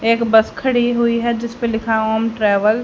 एक बस खड़ी हुई है जिसपे लिखा ओम ट्रैवल --